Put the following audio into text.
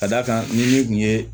Ka d'a kan ni ne tun ye